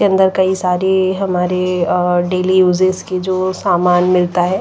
के अंदर कई सारे हमारे डेली यूजेस के जो सामान मिलता है।